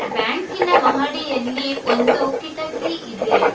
ಬ್ಯಾಂಕಿ ನ ಮಹಡಿಯಲ್ಲಿ ಒಂದು ಕಿಟಕಿ ಇದೆ.